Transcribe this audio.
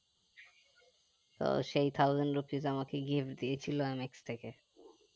তো সেই thousand rupees আমাকে gift দিয়েছিলো mx থেকে